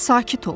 Sakit ol!